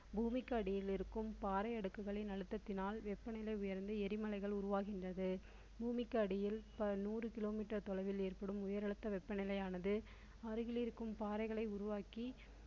பூமிக்கு அடியில் இருக்கும் பாறை அடுக்குகளின் அழுத்தத்தினால் வெப்பநிலை உயர்ந்து எரிமலைகள் உருவாகின்றது பூமிக்கு அடியில் நூறு கிலோ மீட்டர் தொலைவில் ஏற்படும் உயர் அழுத்த வெப்பநிலையானது அருகில் இருக்கும் பாறைகளை உருவாக்கி திரவம் போன்றவற்றை விடும்.